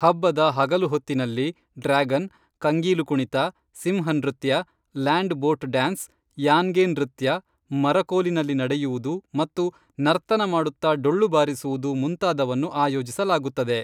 ಹಬ್ಬದ ಹಗಲು ಹೊತ್ತಿನಲ್ಲಿ ಡ್ರ್ಯಾಗನ್, ಕಂಗೀಲು ಕುಣಿತ, ಸಿಂಹ ನೃತ್ಯ, ಲ್ಯಾಂಡ್ ಬೋಟ್ ಡ್ಯಾನ್ಸ್, ಯಾನ್ಗೆ ನೃತ್ಯ, ಮರಕೋಲಿನಲ್ಲಿ ನಡೆಯುವುದು ಮತ್ತು ನರ್ತನ ಮಾಡುತ್ತಾ ಡೊಳ್ಳು ಬಾರಿಸುವುದು ಮುಂತಾದವನ್ನು ಆಯೋಜಿಸಲಾಗುತ್ತದೆ